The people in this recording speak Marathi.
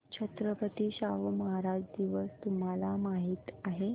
छत्रपती शाहू महाराज दिवस तुम्हाला माहित आहे